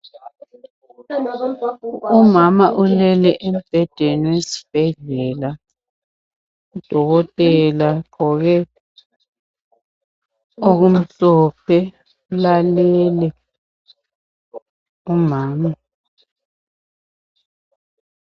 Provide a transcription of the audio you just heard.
Umama ulele embhedeni wesibhedlela, udokotela ugqoke okumhlophe, ulalele umama.